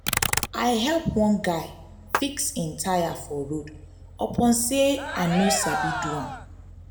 i help one guy fix im tyre for road upon sey i no sabi do am.